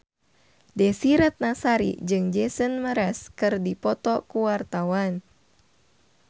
Desy Ratnasari jeung Jason Mraz keur dipoto ku wartawan